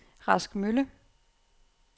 Rask Mølle